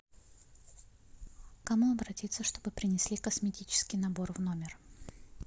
к кому обратиться чтобы принесли косметический набор в номер